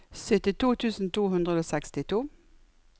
syttito tusen to hundre og sekstito